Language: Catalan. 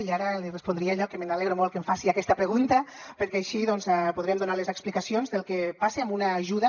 i ara li respondria allò que m’alegro molt que em faci aquesta pregunta perquè així doncs podrem donar les explicacions del que passa amb una ajuda